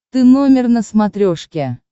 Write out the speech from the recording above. ты номер на смотрешке